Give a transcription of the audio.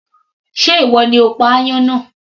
Sé ìwọ ni o pa aáyán náà